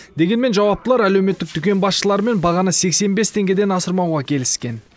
дегенмен жауаптылар әлеуметтік дүкен басшыларымен бағаны сексен бес теңгеден асырмауға келіскен